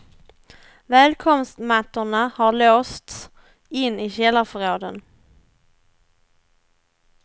Välkomstmattorna har låsts in i källarförråden.